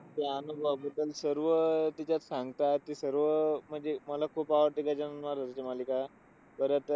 त्या अनुभवाबद्दल सर्व अह त्याच्यात सांगतात की सर्व, अह म्हणजे अह मला खूप आवडतात गजानन महाराजांचं मालिका परत अह